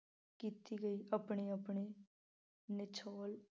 ਕੀਤੀ ਗਈ ਆਪਣੀ ਆਪਣੀ